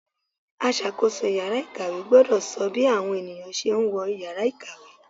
Aṣàkóso ìyára ìkàwé gbọ́dọ̀ sọ bí àwọn ènìyàn ṣe ń wọ Ìyàrá ìkàwé.